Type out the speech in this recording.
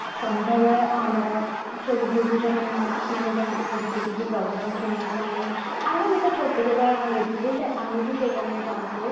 ସନ୍ଧ୍ୟାବେଳେ ଆମର ସବୁ ଗୁରୁଜନ ମାନେ ମାନେ ଯାଆନ୍ତି ସବୁ ସେଠିକି ପ୍ରବଚନ ଶୁଣିବା ପାଇଁ ଆମେ ବି ତ ଛୋଟ ଯେତେବେଳେ ହେଇଥିଲୁ ଆମେ ବି ସେଇ timeରେ ଯାଉଥିଲୁ